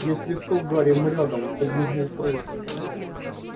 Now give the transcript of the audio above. если что гарри мы рядом подмигнул фред